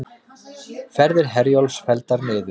Ferðir Herjólfs felldar niður